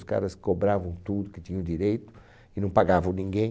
Os caras cobravam tudo que tinham direito e não pagavam ninguém.